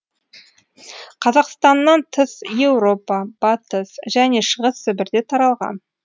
қазақстаннан тыс еуропа батыс және шығыс сібірде таралған